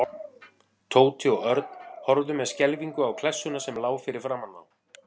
Tóti og Örn horfðu með skelfingu á klessuna sem lá fyrir framan þá.